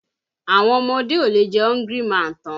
Àwọn ọmọdé ò lè jẹ Hungry man tán.